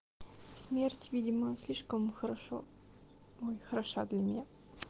смерть видимо не слишком хорошо хороша для меня